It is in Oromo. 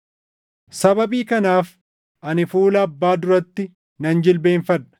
Sababii kanaaf ani fuula Abbaa duratti nan jilbeenfadha;